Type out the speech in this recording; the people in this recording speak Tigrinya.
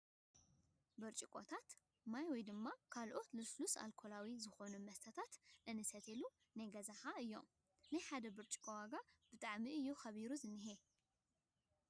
ብርጭቆታት ማይ ውይ ድማ ካልኦት ልስሉስኣርኮላዊ ዝኮኑ መስተታት ክንሰትየሎን ናይ ገዛ ኣሓ እዮም። ናይ ሓደ ብርጭቆ ዋጋ ሎሚ ብጣዕሚ እዩ ከቢሩ ዝኒሀ።